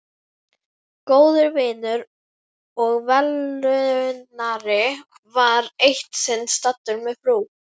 Góður vinur og velunnari var eitt sinn staddur með frú